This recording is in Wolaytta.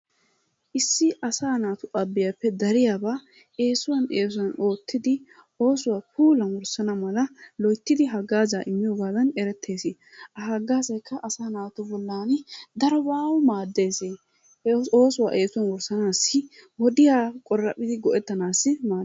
Issi asaa naatu abiyappe dariyabaa eesuwan eesuwan oottidi oosuwa puulamissana mala loyttidi hagaazaa immiyogan erettees. Ha hagaazaykka asaa naatu bollan darobawu maaddees. Oosuwa eesuwan wussanaassi wodiya qoraphidi go"ettanaassi maaddees.